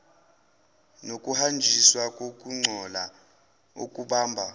nokuhanjiswa kokungcola okubamba